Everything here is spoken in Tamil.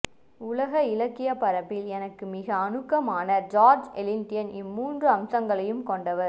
உலக இலக்கியப்பரப்பில் எனக்கு மிக அணுக்கமான ஜார்ஜ் எலியட் இம்மூன்று அம்சங்களையும் கொண்டவர்